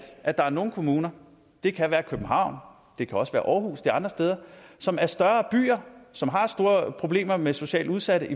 at der er nogle kommuner det kan være københavn det kan også være aarhus eller andre steder som er større byer og som har større problemer med socialt udsatte